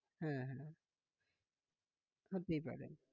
হ্যাঁ হ্যাঁ হতেই পারে।